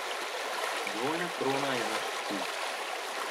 Dvojna krona je naš cilj.